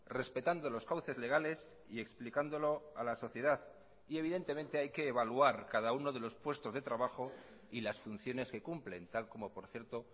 respetando los cauces legales y explicándolo a la sociedad y evidentemente hay que evaluar cada uno de los puestos de trabajo y las funciones que cumplen tal como por cierto